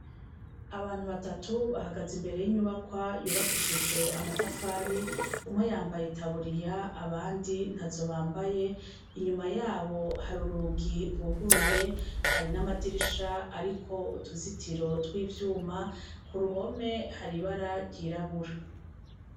Abantu batatu bahagaze imbere y'inyubakwa yubakishije amatafari umwe yambaye itaburiya abandi ntazobambaye inyuma yabo harurugi rguguruye hari n'amadirisha, ariko utuzitiro tw'ivyuma, ku ruhome haribara ryirabura.